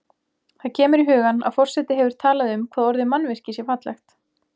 Það kemur í hugann að forseti hefur talað um hvað orðið mannvirki sé fallegt.